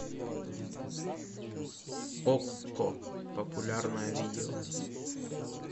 окко популярное видео